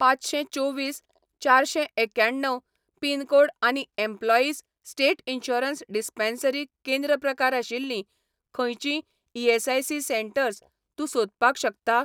पांचशें चोवीस चारशें एक्याण्णव पिन कोड आनी एम्प्लॉयीस स्टेट इन्शुरन्स डिस्पेन्सरी केंद्र प्रकार आशिल्लीं खंयचींय ईएसआयसी सेटंर्स तूं सोदपाक शकता ?